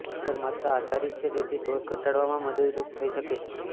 અસર માત્રા આધારિત છે તેથી ડોઝ ઘટાડવામાં મદદરૂપ થઈ શકે છે